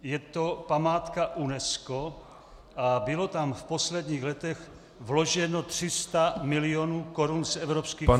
Je to památka UNESCO a bylo tam v posledních letech vloženo 300 milionů korun z evropských fondů.